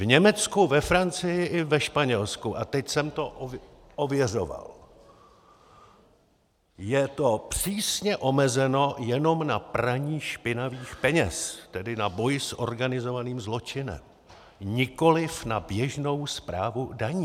V Německu, ve Francii i ve Španělsku - a teď jsem to ověřoval - je to přísně omezeno jenom na praní špinavých peněz, tedy na boj s organizovaným zločinem, nikoliv na běžnou správu daní.